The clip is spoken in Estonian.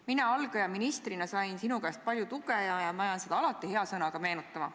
Mina algaja ministrina sain sinu käest palju tuge ja ma jään seda alati hea sõnaga meenutama.